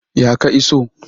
Ya ka iso?